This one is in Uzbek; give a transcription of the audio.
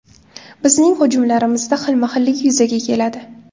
Bizning hujumlarimizda xilma-xillik yuzaga keladi.